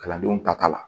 Kalandenw ta ka la